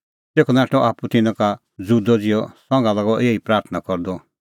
तेखअ नाठअ आप्पू तिन्नां का ज़ुदअ ज़िहअ संघा लागअ एही प्राथणां करदअ